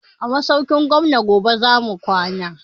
A masaukin gwamnan yobe zamu kwana